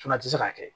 Fana ti se ka kɛ